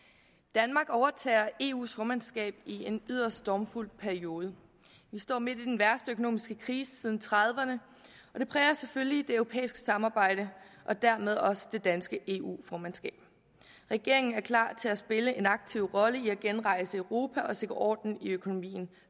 danmark overtager eus formandskab i en yderst stormfuld periode vi står midt i den værste økonomiske krise siden nitten trediverne og det præger selvfølgelig det europæiske samarbejde og dermed også det danske eu formandskab regeringen er klar til at spille en aktiv rolle i at genrejse europa og sikre orden i økonomien